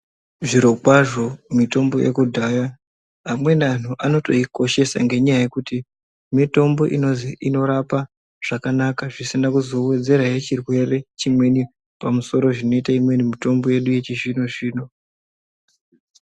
Zvirokwazvo mitombo yekudhaya amweni anhu anotoikoshesa ngenyaya yekuti mitombo inorapa zvekanaka zvisina kuzowedzerahe chirwere chimweni pamusoro zvinoite imweni mitombo yedu yechizvino-zvino.